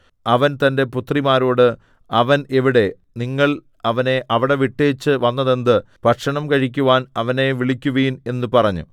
അവൻ തന്റെ പുത്രിമാരോട് അവൻ എവിടെ നിങ്ങൾ അവനെ അവിടെ വിട്ടേച്ചു വന്നതെന്ത് ഭക്ഷണം കഴിക്കുവാൻ അവനെ വിളിക്കുവിൻ എന്നു പറഞ്ഞു